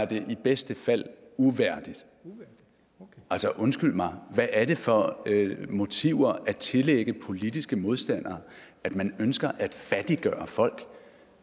det er i bedste fald uværdigt altså undskyld mig hvad er det for motiver at tillægge politiske modstandere at man ønsker at fattiggøre folk